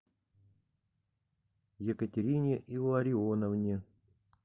екатерине илларионовне